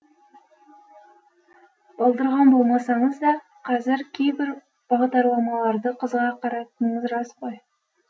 балдырған болмасаңыз да қазір кейбір бағдарламаларды қызыға қарайтыныңыз рас қой